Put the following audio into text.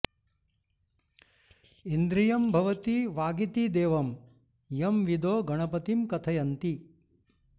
इन्द्रियं भवति वागिति देवं यं विदो गणपतिं कथयन्ति